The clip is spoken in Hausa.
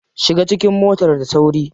Shiga cikin motar da sauri.